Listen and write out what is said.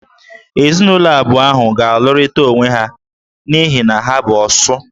Ezinụlọ abụọ ahụ ga-alụrịta onwe ha n'ihi na ha bụ "Osu"